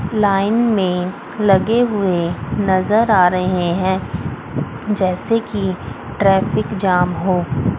Line में लगे हुए नजर आ रहे हैं जैसे कि ट्रैफिक जाम हो।